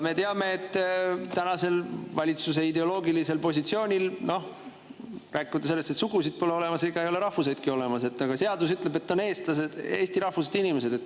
Me teame, et tänase valitsuse ideoloogilise positsiooni järgi, rääkimata sellest, et sugusid pole olemas, ei ole rahvuseidki olemas, aga seadus ütleb, et on eestlased, eesti rahvusest inimesed.